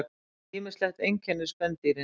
Ýmislegt einkennir spendýrin.